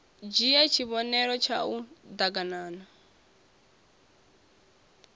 dzhie tshivhonelo tshau d aganana